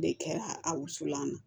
De kɛra a wusulan na